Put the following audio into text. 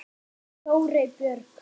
Þórey Björk.